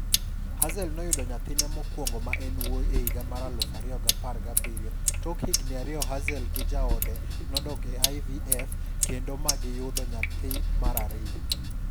Hazel noyudo nyathine mokwongo ma en wuyi e higa mar 2017-tok higni ariyoHazel gi jaode nodok e IVF kendo ma gi yudo nyathi mar ariyo.